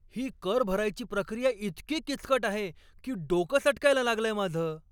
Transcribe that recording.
ही कर भरायची प्रक्रिया इतकी किचकट आहे की डोकं सटकायला लागलंय माझं!